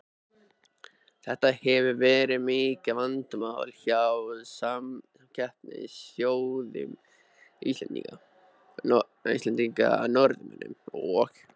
Þetta hefur verið mikið vandamál hjá samkeppnisþjóðum Íslendinga, Norðmönnum og